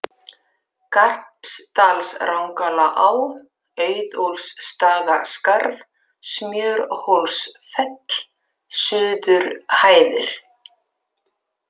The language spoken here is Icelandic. Garpsdalsrangalaá, Auðólfsstaðaskarð, Smjörhólsfell, Suðurhæðir